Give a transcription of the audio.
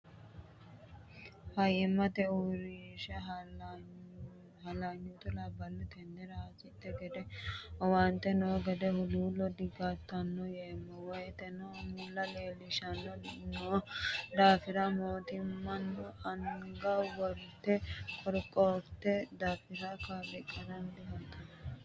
Faayyimate uurrinsha halanyutta labbano tenera hasidhi gede owaante no gede huluulo digaltanoe yeemmo woyteno mulla leelishanori no daafira mootimmano anga worte qorqortano daafira kalaqamanori diheerano.